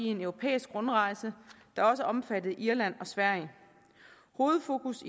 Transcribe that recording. en europæisk rundrejse der også omfattede irland og sverige hovedfokusset